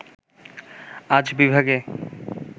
আজ বিভাগে